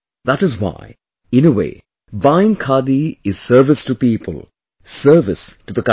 That is why, in a way, buying Khadi is service to people, service to the country